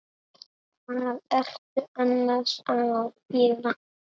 Hvað ertu annars að gera?